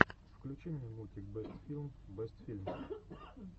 включи мне мультик бэст филм бэст фильм